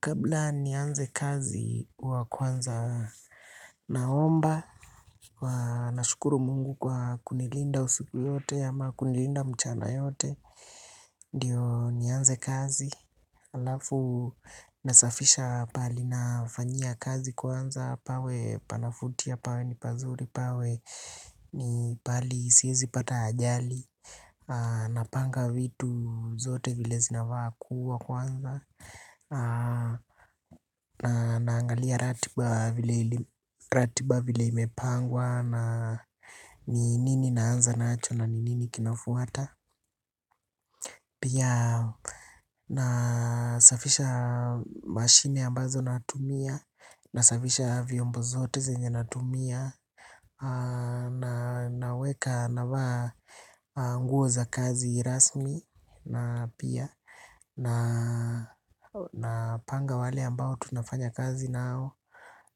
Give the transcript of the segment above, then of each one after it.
Kabla nianze kazi huwa kwanza naomba kwa. Nashukuru Mungu kwa kunilinda usiku yote ama kunilinda mchana yote. Ndiyo nianze kazi. Halafu nasafisha pale nafanyia kazi kwanza pawe panavutia pawe ni pazuri pawe ni pahali siwezi pata ajali. Napanga vitu zote vile zinafaa kuwa kwanza. Na naangalia ratiba vile ratiba vile imepangwa na ni nini naanza nacho na ni nini kinafuata. Pia nasafisha mashine ambazo natumia nasafisha vyombo zote zenye natumia. Na naweka navaa nguo za kazi rasmi na pia. Napanga wale ambao tunafanya kazi nao.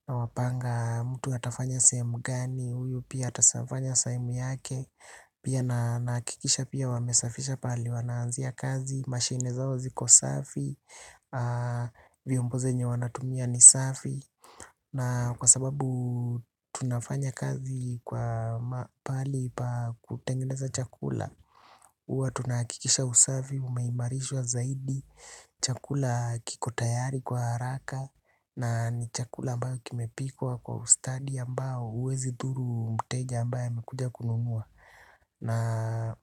Nawapanga mtu atafanya sehemu gani huyu pia atafanya sehemu yake. Pia na nahakikisha pia wamesafisha pale. Wanaanzia kazi, mashine zao ziko safi. Vyombo zenye wanatumia ni safi. Na kwa sababu tunafanya kazi kwa pahali pa kutengeneza chakula huwa tunahakikisha usafi, umeimarishwa zaidi. Chakula kiko tayari kwa haraka na ni chakula ambayo kimepikwa kwa ustadi ambao huwezi dhuru mteja ambaye amekuja kununua Na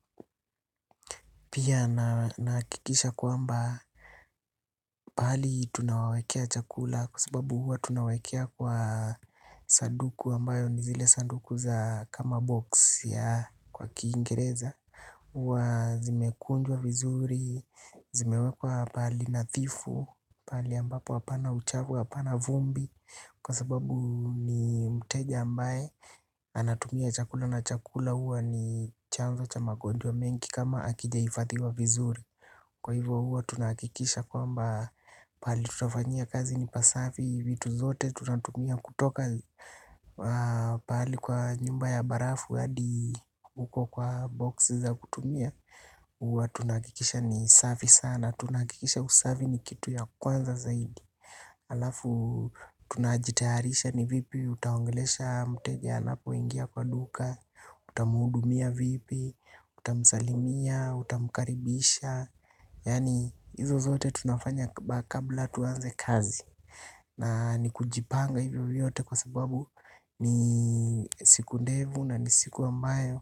pia nahakikisha kwamba pahali tunawawekea chakula kwa sababu huwa tunawekea kwa sanduku ambayo ni zile sanduku za kama box ya kwa kingereza. Huwa zimekunjwa vizuri, zimewekwa pahali nadhifu, pahali ambapo hapana uchafu hapana vumbi. Kwa sababu ni mteja ambaye anatumia chakula na chakula huwa ni chanzo cha magonjwa mengi kama hakijaifadhiwa vizuri. Kwa hivyo huwa tunahakikisha kwamba pahali tunafanyia kazi ni pasafi vitu zote tunatumia kutoka pahali kwa nyumba ya barafu hadi uko kwa box za kutumia huwa tunahakikisha ni safi sana. Tunahakikisha usafi ni kitu ya kwanza zaidi halafu tunajitayarisha ni vipi utaongelesha mteja anapoingia kwa duka. Utamuhudumia vipi, utamsalimia, utamkaribisha yani izo zote tunafanya kabla tuanze kazi. Na ni kujipanga hivyo vyote kwa sababu ni siku ndefu na ni siku ambayo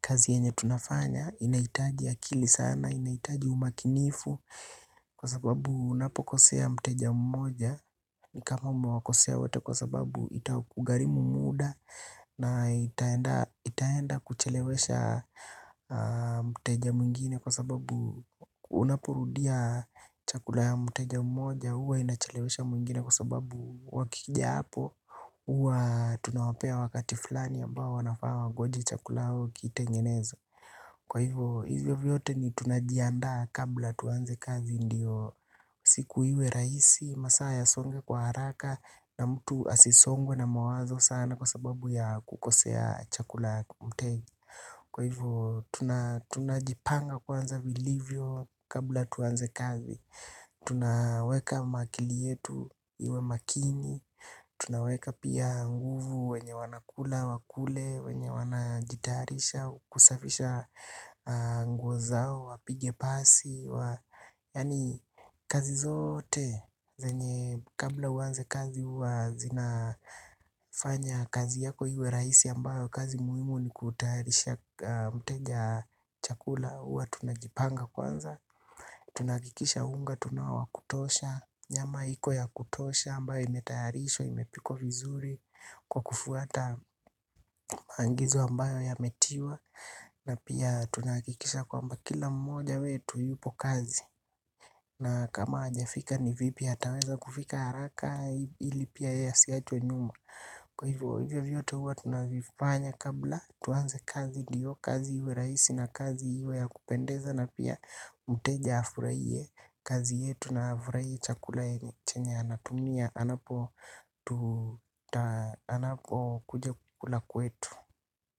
kazi yenye tunafanya inahitaji akili sana, inahitaji umakinifu kwa sababu unapokosea mteja mmoja ni kama umewakosea wote kwa sababu itakugharimu muda na itaenda itaenda kuchelewesha mteja mwingine kwa sababu unaporudia chakula ya mteja mmoja huwa inachelewesha mwingine kwa sababu wakija hapo, huwa tunawapea wakati fulani ambao wanafaa wangojee chakula au kitengenezwe. Kwa hivyo, hivyo vyote ni tunajiandaa kabla tuanze kazi ndiyo. Siku iwe rahisi, masaa yasonge kwa haraka na mtu asisongwe na mawazo sana kwa sababu ya kukosea chakula kwa mteja. Kwa hivyo tunajipanga kwanza vilivyo kabla tuanze kazi tunaweka maakili yetu iwe makini. Tunaweka pia nguvu wenye wanakula, wakule, wenye wanajitayarisha, kusafisha nguo zao, wapige pasi wa yani kazi zote, zenye kabla uanze kazi huwa zinafanya kazi yako iwe rahisi ambayo kazi muhimu ni kutayarisha mteja chakula huwa tunajipanga kwanza. Tunahakikisha unga tunao wa kutosha. Nyama iko ya kutosha ambayo imetayarishwa, imepikwa vizuri. Kwa kufuata maagizo ambayo yametiwa na pia tunahakikisha kwamba kila mmoja wetu yupo kazi. Na kama hajafika ni vipi ataweza kufika haraka ili pia yeye asiachwe nyuma. Kwa hivyo hivyo vyote huwa tunavifanya. Kabla tuanze kazi ndio. Kazi iwe rahisi na kazi iwe ya kupendeza na pia mteja afurahie kazi yetu na afurahie chakula yenye chenye anatumia. Anapo tu kuja kula kwetu.